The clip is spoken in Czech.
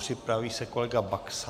Připraví se kolega Baxa.